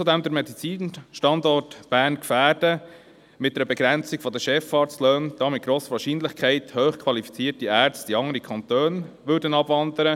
Zudem würden wir mit einer Begrenzung der Chefarztlöhne den Medizinalstandort Bern gefährden, da mit grosser Wahrscheinlichkeit hochqualifizierte Ärzte in andere Kantone abwanderten.